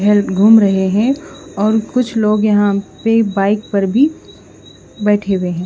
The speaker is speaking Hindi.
घूम रहे हैं और कुछ लोग यहां पे बाइक पर भी बैठे हुए हैं।